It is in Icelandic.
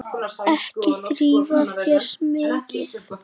Ekki þrífa þær mikið.